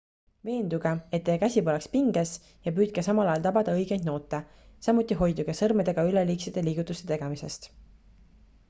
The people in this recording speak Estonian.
veenduge et teie käsi poleks pinges ja püüdke samal ajal tabada õigeid noote samuti hoiduge sõrmedega üleliigsete liigutuste tegemisest